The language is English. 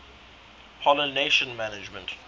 pollination management